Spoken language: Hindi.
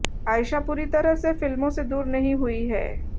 आयशा पूरी तरह से फिल्मों से दूर नहीं हुई हैं